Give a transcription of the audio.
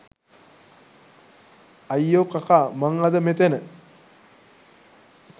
අයියෝ කකා මං අද මෙතැන